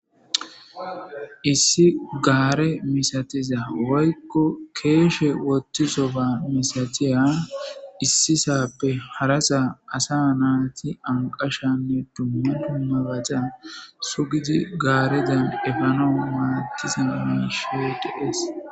Issi gaare misatiza woykko keeshe wottizo ba misatiya issisappe harasa asa naati anqashanne dumma dummabata sugidi gaarezan efanaw madiza miishshi be'idi dees